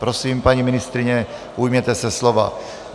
Prosím, paní ministryně, ujměte se slova.